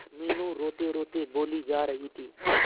मीनू रोतेरोते बोली जा रही थी